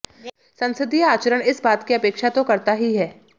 संसदीय आचरण इस बात की अपेक्षा तो करता ही है